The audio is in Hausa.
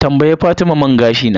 Tambayi fatima man gashi na.